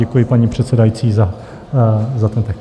Děkuji paní předsedající za ten text.